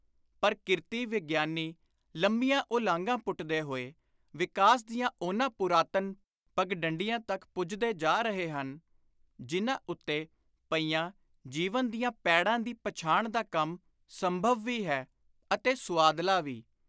ਪਰਕਿਰਤੀ-ਵਿਗਿਆਨੀ ਲੰਮੀਆਂ ਉਲਾਂਘਾਂ ਪੁੱਟਦੇ ਹੋਏ ਵਿਕਾਸ ਦੀਆਂ ਉਨ੍ਹਾਂ ਪੁਰਾਤਨ ਪਗਡੰਡੀਆਂ ਤਕ ਪੁੱਜਦੇ ਜਾ ਰਹੇ ਹਨ, ਜਿਨ੍ਹਾਂ ਉੱਤੇ ਪਈਆਂ ਜੀਵਨ ਦੀਆਂ ਪੈੜਾਂ ਦੀ ਪਛਾਣ ਦਾ ਕੰਮ ਸੰਭਵ ਵੀ ਹੈ ਅਤੇ ਸੁਆਦਲਾ ਵੀ।